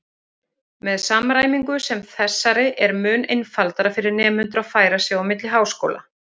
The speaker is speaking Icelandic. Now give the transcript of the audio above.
Með samræmingu sem þessari er mun einfaldara fyrir nemendur að færa sig á milli háskóla.